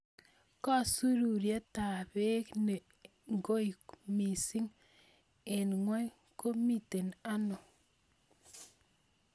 Kasururtap peek ne goi miising' eng' ng'wony ko miten ano